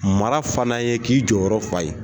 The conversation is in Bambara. Mara fana ye k'i jɔyɔrɔ fa ye.